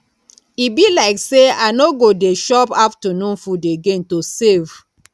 e be like say i no go dey chop afternoon food again to save